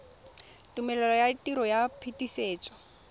tumelelo ya tiro ya phetisetso